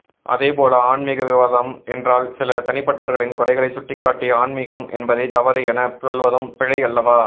அதேபோல ஆன்மிக விவாதம் என்றால் சில தனிப்பட்டவர்களின் குறைகளை சுட்டிக்காட்டி ஆன்மிகம் என்பதே தவறு என சொல்வதும் பிழை அல்லவா